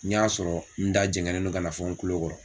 N y'a sɔrɔ n da jɛngɛnen no ka na fo n kulo kɔrɔ.